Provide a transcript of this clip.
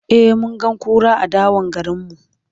e mun ga kura a dawan garinmu